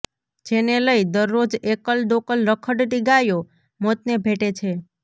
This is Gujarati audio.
જેને લઈ દરરોજ એકલ દોકલ રખડતી ગાયો મોતને ભેટે છે